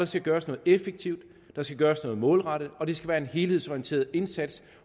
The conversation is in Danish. skal gøres noget effektivt der skal gøres noget målrettet og det skal være en helhedsorienteret indsats